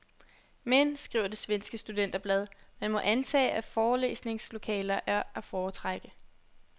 Men, skriver det svenske studenterblad, man må antage, at forelæsningslokaler er at foretrække.